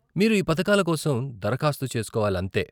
మీరు ఈ పథకాల కోసం దరఖాస్తు చేస్కోవాలంతే.